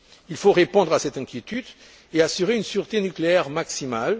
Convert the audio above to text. Il faut répondre à cette inquiétude et assurer une sûreté nucléaire maximale.